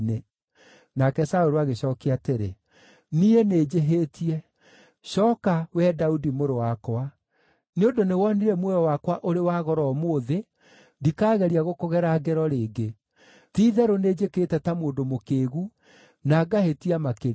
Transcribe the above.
Nake Saũlũ agĩcookia atĩrĩ, “Niĩ nĩnjĩhĩtie. Cooka, wee Daudi, mũrũ wakwa. Nĩ ũndũ nĩ wonire muoyo wakwa ũrĩ wa goro ũmũthĩ, ndikaageria gũkũgera ngero rĩngĩ. Ti-itherũ nĩnjĩkĩte ta mũndũ mũkĩĩgu, na ngahĩtia makĩria.”